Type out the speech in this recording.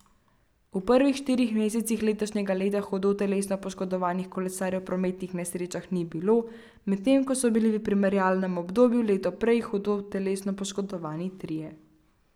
V prvih štirih mesecih letošnjega leta hudo telesno poškodovanih kolesarjev v prometnih nesrečah ni bilo, medtem ko so bili v primerjalnem obdobju leto prej hudo telesno poškodovani trije.